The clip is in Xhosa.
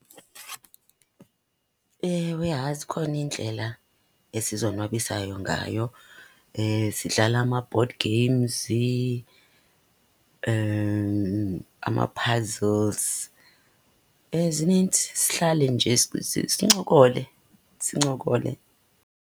Ewe, hayi zikhona iindlela esizonwabisayo ngayo. Sidlala ama-board games, ama-puzzles, zinintsi sihlale nje sincokole, sincokole.